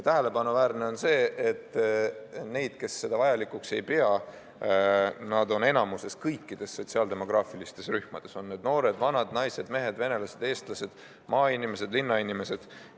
Tähelepanuväärne on see, et neid, kes seda vajalikuks ei pea, on kõikides sotsiaaldemograafilistes rühmades, need on noored, vanad, naised, mehed, venelased, eestlased, maainimesed, linnainimesed.